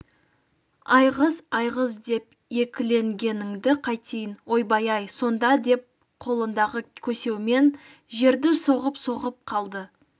айғыз айғыз деп екіленгеніңді қайтейін ойбай-ай сонда деп қолындағы көсеумен жерді соғып-соғып қалды